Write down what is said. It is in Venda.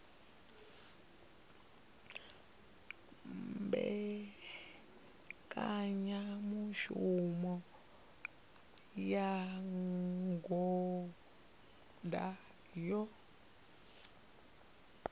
ṅetshedza mbekanyamushumo ya ngudo yo